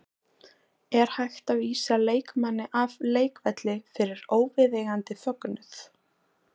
Er hægt að vísa leikmanni af leikvelli fyrir óviðeigandi fögnuð?